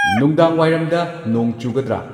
ꯅꯨꯡꯗꯥꯡꯋꯥꯏꯔꯝꯗ ꯅꯣꯡ ꯆꯨꯒꯗ꯭ꯔꯥ